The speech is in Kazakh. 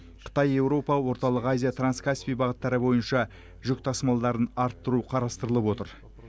қытай еуропа орталық азия транскаспий бағыттары бойынша жүк тасымалдарын арттыру қарастырылып отыр